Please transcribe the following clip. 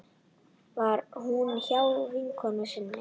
Var hún hjá vinkonu sinni?